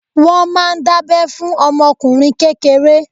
Wọ́n máa ń dábẹ́ fún ọmọ ọkùnrin kékeré.